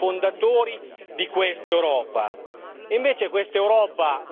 uno dei sei paesi fondatori di questa Europa.